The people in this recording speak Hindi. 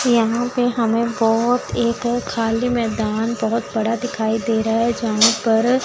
यहां पे हमें बहुत एक खाली मैदान बहुत बड़ा दिखाई दे रहा है यहां पर--